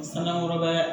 Sann'an kɔrɔbaya